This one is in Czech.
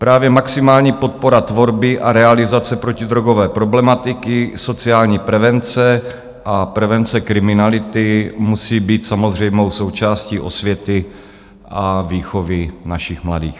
Právě maximální podpora tvorby a realizace protidrogové problematiky, sociální prevence a prevence kriminality musí být samozřejmou součástí osvěty a výchovy našich mladých.